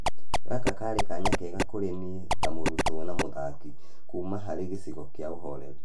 Gaka karĩ kanya kega kũri niĩ ta mũrutwo na mũthaki kuuma harĩ gĩcigo kĩa uhoreri.